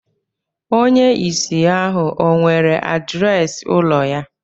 Onye ìsì ahu ọ̀ nwere adreesị ụlọ ya